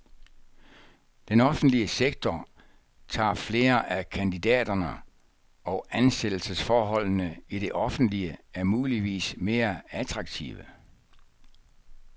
Den offentlige sektor tager flere af kandidaterne, og ansættelsesforholdene i det offentlige er muligvis mere attraktive.